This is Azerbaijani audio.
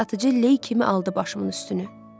Satıcı ley kimi aldı başımın üstünü.